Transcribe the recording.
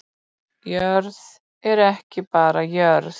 Jörð er ekki bara jörð